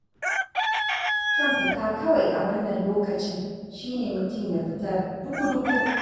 Kyan fita kawai a wannan lokacin shi ne mutum ya fita duku-duku.